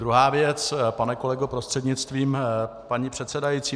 Druhá věc, pane kolego prostřednictvím paní předsedající.